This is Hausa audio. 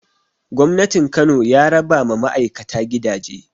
Gwamnatin Kano ya raba ma ma'aikata gidaje